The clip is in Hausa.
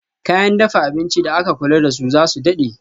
Kayan dafa abinci da aka kula dasu zasu dade